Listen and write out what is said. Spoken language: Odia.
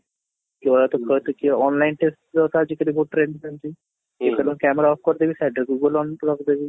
online test ତ ଆଜିକାଲି trend ରେ ଚାଲିଛି, ଜେଠାନେ camera off କରିଦେବି side ରେ google on କରି ରଖିଦେବି